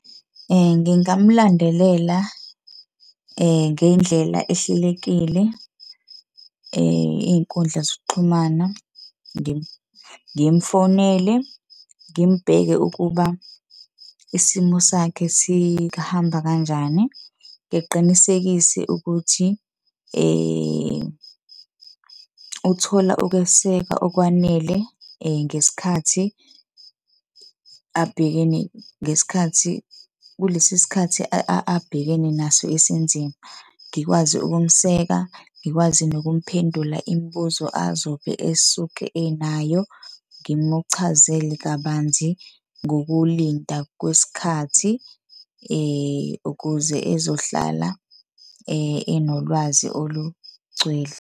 Ngingamulandelela ngendlela ehlelekile iy'nkundla zokuxhumana ngimfonele, ngimbheke ukuba isimo sakhe sihamba kanjani. Ngiqinisekise ukuthi uthola ukwesekwa okwanele ngesikhathi abhekene, ngesikhathi kulesi sikhathi abhekene naso esinzima. Ngikwazi ukumseka, ngikwazi nokumphendula imibuzo azobe esuke enayo. Ngimuchazele kabanzi ngokulinda kwesikhathi ukuze ezohlala enolwazi olugcwele.